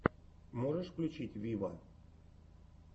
можешь включить виво